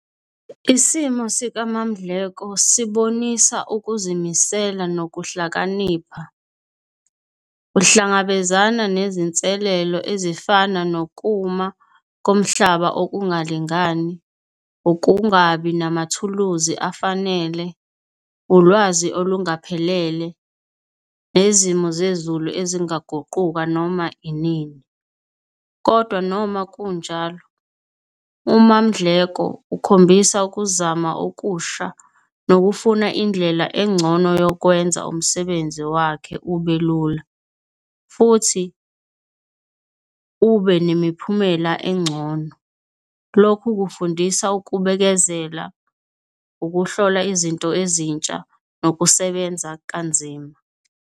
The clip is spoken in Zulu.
Isimo sika MaMdleko sibonisa ukuzimisela nokuhlakanipha. Uhlangabezana nezinselelo ezifana nokuma komhlaba okungalingani, ukungabi namathuluzi afanele, ulwazi olungaphelele nezimo zezulu ezingaguquka noma inini. Kodwa noma kunjalo, uMaMdleko ukhombisa ukuzama okusha nokufuna indlela engcono yokwenza umsebenzi wakhe ube lula, futhi ube nemiphumela encono. Lokhu kufundisa ukubekezela, ukuhlola izinto ezintsha nokusebenza kanzima.